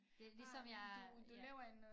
Det ligesom jeg ja